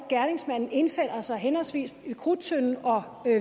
gerningsmanden indfinder sig henholdsvis ved krudttønden og